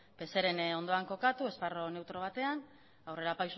pseren ondoan kokatu esparru neutro batean